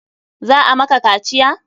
Za a maka kaciya?